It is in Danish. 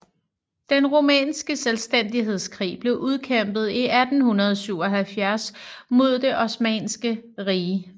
Den rumænske selvstændighedskrig blev udkæmpet i 1877 mod Det osmanniske rige